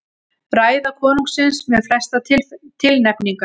Ræða konungsins með flestar tilnefningar